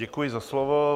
Děkuji za slovo.